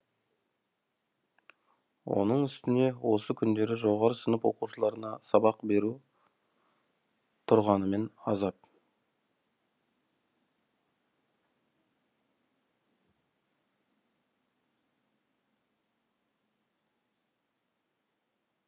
оның үстіне осы күндері жоғары сынып оқушыларына сабақ беру тұрғанымен азап